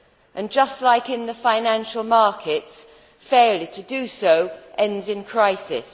And, just like in the financial markets, failure to do so ends in crisis.